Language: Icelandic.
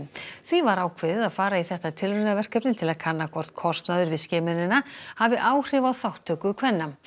því var ákveðið að fara í þetta tilraunaverkefni til að kanna hvort kostnaður við skimunina hafi áhrif á þátttöku kvenna